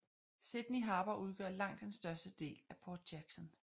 Sydney Harbour udgør langt den største del af Port Jackson